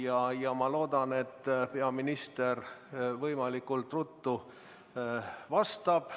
Aga ma loodan, et peaminister võimalikult ruttu vastab.